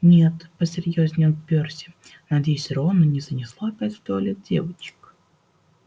нет посерьёзнел перси надеюсь рона не занесло опять в туалет девочек